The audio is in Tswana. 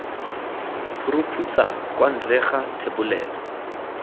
phuruphutsa kwa ntle ga thebolelo